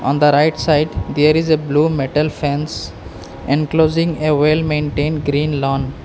On the right side there is a blue metal fence enclosing a well maintained green lawn.